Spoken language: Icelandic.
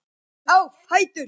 Rís á fætur.